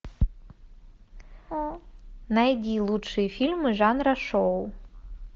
найди лучшие фильмы жанра шоу